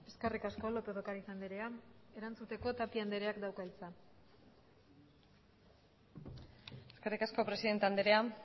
eskerrik asko lópez de ocariz andrea erantzuteko tapia andreak dauka hitza eskerrik asko presidente andrea